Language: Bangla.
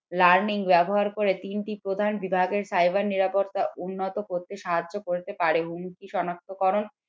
learning ব্যবহার করে তিনটি প্রধান বিভাগের cyber নিরাপত্তা উন্নত করতে সাহায্য করে করতে পারে হুমকি সনাক্তকরণ